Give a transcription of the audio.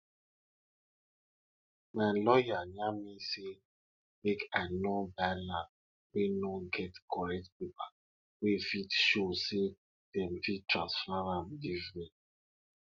i remember the story wey mama tlak about maize wey dey dance wen small pikin dem dey sing dem dey sing planting songs together